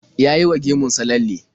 Ya yi wa gemun sa lalle.